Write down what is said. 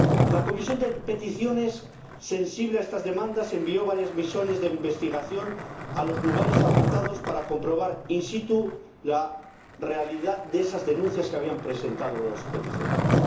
La Comisión de Peticiones, sensible a estas demandas, envió varias misiones de investigación a los lugares afectados para comprobar in situ la realidad de esas denuncias que habían presentado los peticionarios.